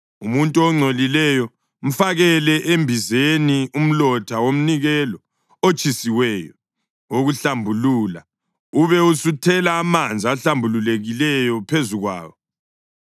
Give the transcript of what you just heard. Umuntu ongcolileyo, mfakele embizeni umlotha womnikelo otshisiweyo wokuhlambulula ube usuthela amanzi ahlambulukileyo phezu kwawo.